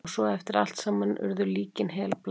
Og svo eftir allt saman urðu líkin helblá.